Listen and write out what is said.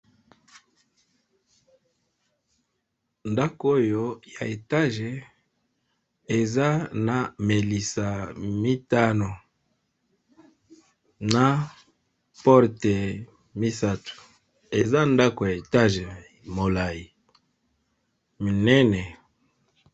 Ndaku Oyo ya étage eza na Melisa misatu